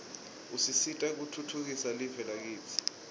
usisita kutfutfukisa live lakitsi